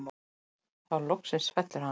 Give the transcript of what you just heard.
Þá loksins fellur hann.